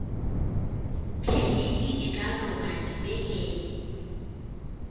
phemiti e ka loka dibekeng